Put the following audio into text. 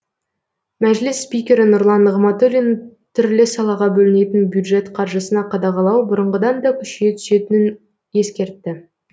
мәжіліс спикері нұрлан нығматулин түрлі салаға бөлінетін бюджет қаржысына қадағалау бұрынғыдан да күшейе түсетінін ескертті